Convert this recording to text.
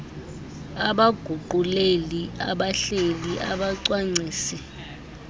abaguquleli abahleli abacwangcisi